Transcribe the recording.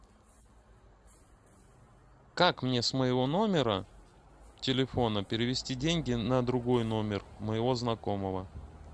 как мне с моего номера телефона перевести деньги на другой номер моего знакомого